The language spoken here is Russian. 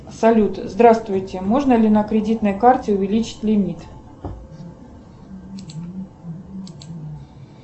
салют здравствуйте можно ли на кредитной карте увеличить лимит